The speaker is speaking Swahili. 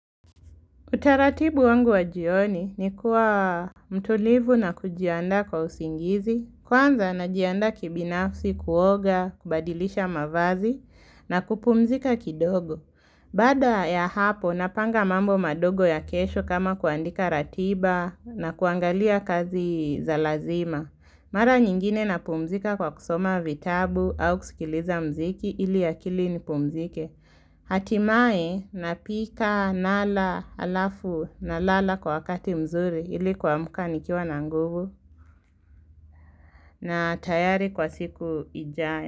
Utaratibu wangu wa jioni ni kuwa mtulivu na kujiandaa kwa usingizi. Kwanza najiandaa kibinafsi kuoga, kubadilisha mavazi na kupumzika kidogo. Bqada ya hapo napanga mambo madogo ya kesho kama kuandika ratiba na kuangalia kazi za lazima. Mara nyingine napumzika kwa kusoma vitabu au kusikiliza muziki ili akili ni pumzike. Hatimaye na pika nala alafu na lala kwa wakati mzuri ili kuamka nikiwa na nguvu na tayari kwa siku ijae.